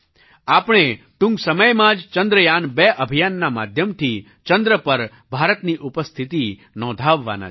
આપણે ટૂંક સમયમાં જ ચંદ્રયાન2 અભિયાનના માધ્યમથી ચંદ્ર પર ભારતની ઉપસ્થિતિ નોંધાવવાના છીએ